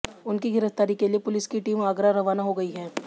उनकी गिरफ्तारी के लिए पुलिस की टीम आगरा रवाना हो गई है